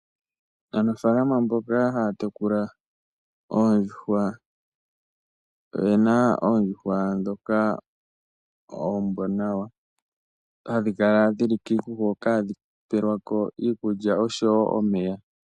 Aanafaalama mboka haya tekula oondjuhwa oyena oondjuhwa ndhoka oombwanawa. Ohadhi kala dhili kiikuku hoka hadhi pelwako iikulya oshowoo omeya .